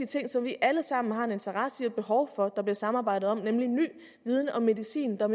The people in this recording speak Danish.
ting som vi alle sammen har en interesse i og et behov for at der bliver samarbejdet om nemlig ny viden om medicin der